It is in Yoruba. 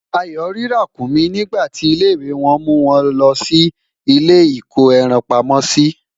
Ayo rí Ràkúnmí nígbà ti ilé ìwé wan mu won lòó ilé iko ẹran pamó si